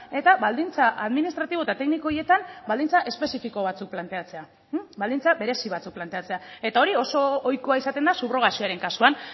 eta baldintza administratibo eta tekniko horietan baldintza espezifiko batzuk planteatzea baldintza berezi batzuk planteatzea eta hori oso ohikoa izaten da subrogazioaren kasuan